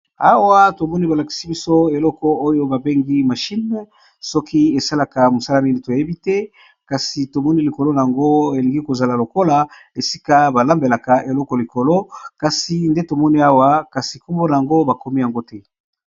Awa tomoni balakisi biso eloko oyo babengi mashine, soki esalaka mosala nini toyebi te, kasi tomoni likolo na yango elingi kozala lokola esika balambelaka eloko likolo, kasi nde tomoni awa kasi kumbona yango bakomi yango te.